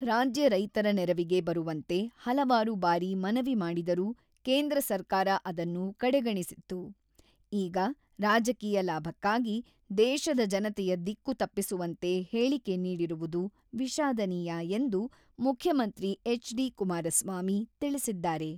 ರಾಜ್ಯ ರೈತರ ನೆರವಿಗೆ ಬರುವಂತೆ ಹಲವಾರು ಬಾರಿ ಮನವಿ ಮಾಡಿದರೂ ಕೇಂದ್ರ ಸರ್ಕಾರ ಅದನ್ನು ಕಡೆಗಣಿಸಿತ್ತು ; ಈಗ ರಾಜಕೀಯ ಲಾಭಕ್ಕಾಗಿ ದೇಶದ ಜನತೆಯ ದಿಕ್ಕು ತಪ್ಪಿಸುವಂತೆ ಹೇಳಿಕೆ ನೀಡಿರುವುದು ವಿಷಾದನೀಯ" ಎಂದು ಮುಖ್ಯಮಂತ್ರಿ ಎಚ್.ಡಿ.ಕುಮಾರಸ್ವಾಮಿ ತಿಳಿಸಿದ್ದಾರೆ.